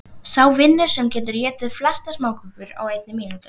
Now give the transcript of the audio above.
Sá vinnur sem getur étið flestar smákökur á einni mínútu.